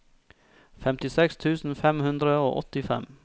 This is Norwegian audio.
femtiseks tusen fem hundre og åttifem